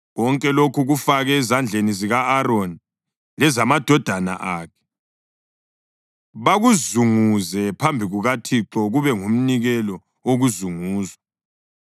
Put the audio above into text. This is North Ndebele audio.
Konke lokhu kufake ezandleni zika-Aroni lezamadodana akhe, bakuzunguze phambi kukaThixo kube ngumnikelo wokuzunguzwa.